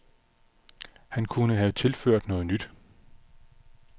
Han kunne have tilført noget nyt.